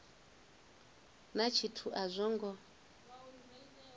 na tshithu a zwo ngo